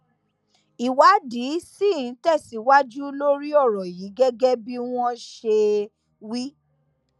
ìwádìí ṣì ń tẹsíwájú lórí ọrọ yìí gẹgẹ bí wọn ṣe wí